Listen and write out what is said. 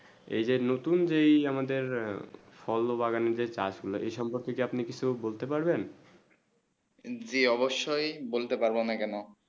এই যে নতুন যে আমাদের ফল বাগান যে চাষ গুলু এই সব গোটা আপনি কিছু বলতে পারবেন জী অবশ্য বলতে পারবো আমি কেন